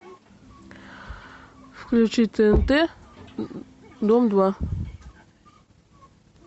включи тнт дом два